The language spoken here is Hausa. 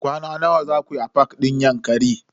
Kwana nawa zaku yi a fak din Yankari?